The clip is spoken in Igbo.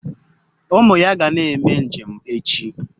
Umu ya ga na-eme njem echi